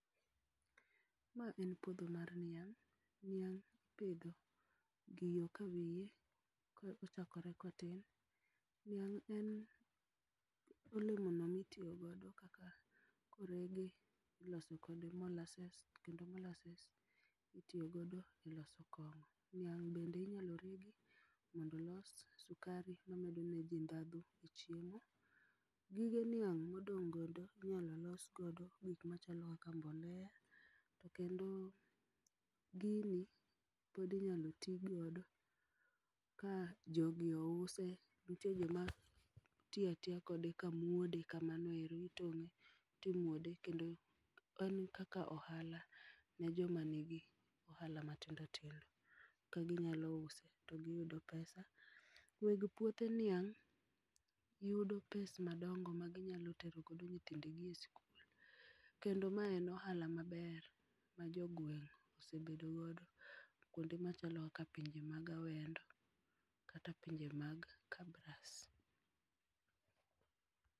Ma en puodho mar niang' ,niang' ipidho gi yoo kawiye korko chakore kotin, niang' en olemo no mitiyogo kaka korege ti loso godo molasses kendo molsases itiyo godo e lso kongo' ,niang' bende inyalo regi mondo olos sukari mamedo ne ji dhadhu e chiemo. Gige niang' modong'godo inyalo los godo gik machalo kaka mbolea to kendo gini pod inyalo tii godo ka jogi ouse nitie joma tiyatiya kode kamwode kamanoero timuode kendo en kaka ohala ne joma nigi ohala matindo tindo ka ginyalo uso to giyudo pesa weg puothe niang' yudo pes madong'o ma ginyalo tero go nyithindgi e sikul kendo ma en ohala maber ma jogweng' osebedo godo kwonde ma chalo kaka pinje ma awendo kata pinje mag kabras.